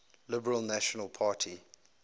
liberal national party